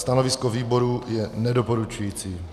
Stanovisko výboru je nedoporučující.